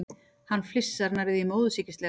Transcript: Hann flissar, nærri því móðursýkislega.